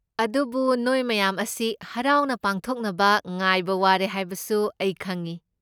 ꯑꯗꯨꯕꯨ ꯅꯣꯏ ꯃꯌꯥꯝ ꯃꯁꯤ ꯍꯔꯥꯎꯅ ꯄꯥꯡꯊꯣꯛꯅꯕ ꯉꯥꯏꯕ ꯋꯥꯔꯦ ꯍꯥꯏꯕꯁꯨ ꯑꯩ ꯈꯪꯢ꯫